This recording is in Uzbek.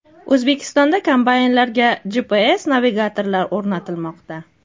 O‘zbekistonda kombaynlarga GPS navigatorlar o‘rnatilmoqda.